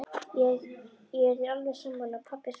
Ég er þér alveg sammála, pabbi svarar